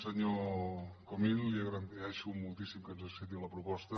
senyor comín li agraeixo moltíssim que ens accepti la proposta